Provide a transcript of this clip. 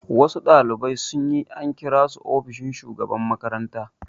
Wasu ɗalibai sun yi, an kira su ofishin shugaban makaranta